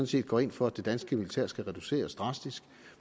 set går ind for at det danske militær skal reduceres drastisk